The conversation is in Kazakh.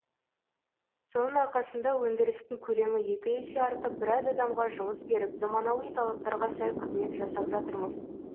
соның арқасында өндірістің көлемі екі есе артып біраз адамға жұмыс беріп заманауи талаптарға сай қызмет жасап жатырмыз